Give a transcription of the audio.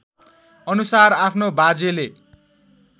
अनुसार आफ्नो बाजेले